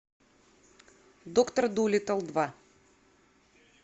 доктор дулиттл два